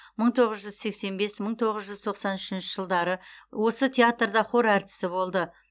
мың тоғыз жүз сексен бес мың тоғыз жүз тоқсан үшінші жылдары осы театрда хор әртісі болды